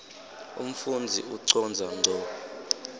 umfundzi ucondza ngco